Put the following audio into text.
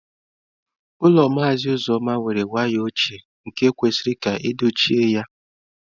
Ụlọ Maazị Alozie were waya ochie nke kwesịrị ka edochie ya.